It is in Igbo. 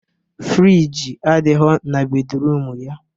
Frijii adighọ na bedruum ya